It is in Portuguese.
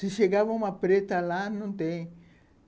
Se chegava uma preta lá, não tem.